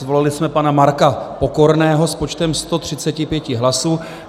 Zvolili jsme pana Marka Pokorného s počtem 135 hlasů.